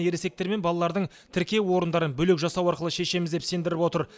ересектер мен балалардың тіркеу орындарын бөлек жасау арқылы шешеміз деп сендіріп отыр